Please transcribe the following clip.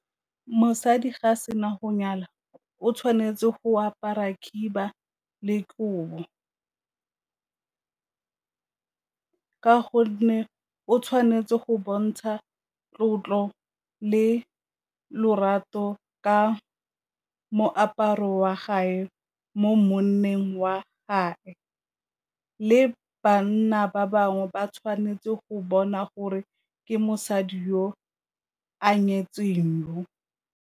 Mosadi ga a sena go nyala o tshwanetse go apara khiba le kobo, ka gonne o tshwanetse go bontsha tlotlo le lorato ka moaparo wa mo monneng wa le bana ba bangwe ba tshwanetse go bona gore ke mosadi yo a nyetseng.